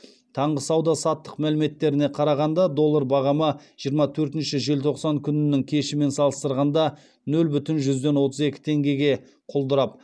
таңғы сауда саттық мәліметтеріне қарағанда доллар бағамы жиырма төртінші желтоқсан күнінің кешімен салыстырғанда нөл бүтін жүзден отыз екі теңгеге құлдырап